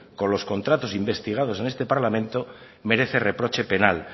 con los contratos investigados en este parlamento merece reproche penal